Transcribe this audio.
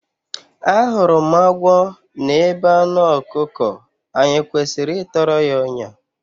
Ahụrụ m agwọ n’ebe anụ ọkụkọ, anyị e kwesịrị ịtọrọ ya ọnyà?